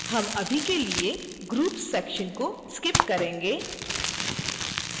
हम अभी के लिए groups section को skip करेंगे